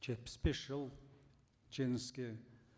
жетпіс бес жыл жеңіске